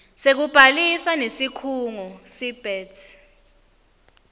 sekubhalisa nesikhungo seabet